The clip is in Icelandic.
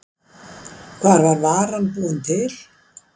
Hvar var varan búin til?